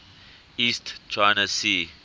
east china sea